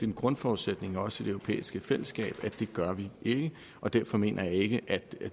en grundforudsætning også i det europæiske fællesskab at det gør vi ikke derfor mener jeg ikke at